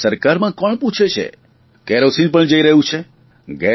પરંતુ સરકારમાં કોણ પૂછે છે કેરોસીન પણ જઇ રહ્યું છે